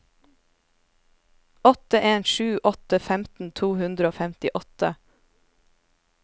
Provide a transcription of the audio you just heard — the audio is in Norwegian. åtte en sju åtte femten to hundre og femtiåtte